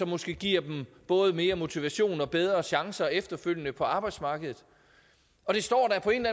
måske giver dem både mere motivation og bedre chancer efterfølgende på arbejdsmarkedet det står da på en